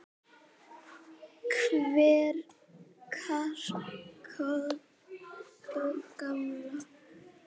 Hver var Kató gamli?